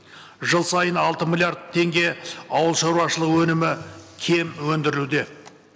жыл сайын алты миллиард теңге ауылшаруашылығы өнімі кем өндіруде